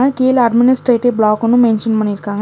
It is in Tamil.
கீழ அட்மினிஸ்ட்ரேடிவ் பிளாக்குனு மென்ஷன் பண்ணிருக்காங்க.